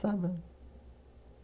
Sabe?